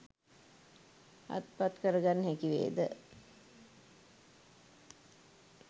අත්පත් කරගන්න හැකිවේද?